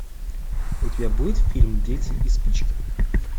у тебя будет фильм дети и спички